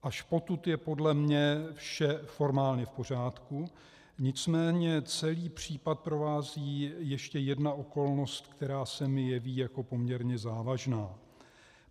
- Až potud je podle mě vše formálně v pořádku, nicméně celý případ provází ještě jedna okolnost, která se mi jeví jako poměrně závažná.